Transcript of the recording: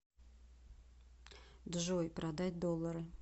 джой продать доллары